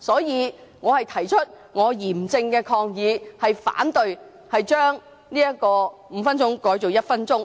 因此，我提出嚴正抗議，反對把點名表決鐘聲由5分鐘縮短至1分鐘。